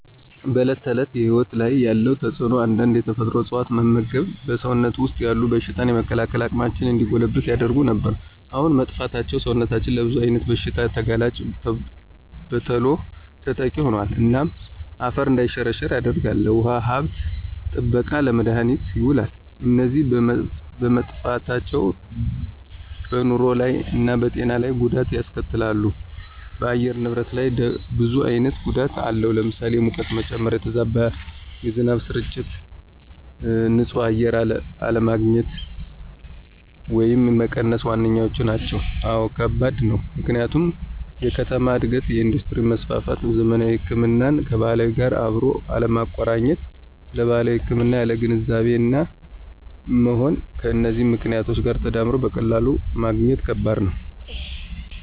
በዕለት ተዕለት ሕይወት ላይ ያለው ተጽእኖ አንዳንድ የተፈጥሮ እፅዋት መመግብ በሰውነታችን ወሰጥ ያሉትን የበሽታ የመከላከል አቅማችን እንዲጎለብት ያደርጉ ነበር። አሁን መጥፍታቸው ሰውነታችን ለብዙ አይነት ብሽታ ተጋላጭና በተሎ ተጠቂ ሆኖል። እናም አፈር እንዳይሸረሸራ ያደርጋል፣ ለውሃ ሀብት ጥበቃነት፣ ለመድሀኒትነት የውላሉ። እነዚ በመጠፍታቸው በንሮ ላይ እና በጤና ለይ ጎዳት ያስከትላሉ ደ በአየር ንብረት ላይ ብዙ አይነት ጎዳት አለው ለምሳሌ፦ የሙቀት መጨመ፣ የተዛባ የዝናብ ስርጭት፣ ን ፅህ አየር አለግኝት ወየም መቀነስ ዋነኛዎቹ ናቸው። አወ ከባድ ነው፦ ምክንያቱም የከተማ እድገት፣ የእንዱስትሪ መስፍፍት፣ ዘመናዊ ህክምናን ከባህላዊ ጋር አብሮ አለማቆረኘት ስለባህላዊ ህክምና ያለን ግንዛቤ አናሳ መሆን ከነዚህ ምክኔቶች ጋር ተዳምሮ በቀላሉ ማግኘት ከበድ ነው።